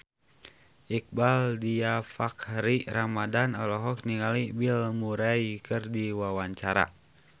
Iqbaal Dhiafakhri Ramadhan olohok ningali Bill Murray keur diwawancara